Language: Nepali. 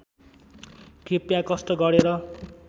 कृपया कष्ट गरेर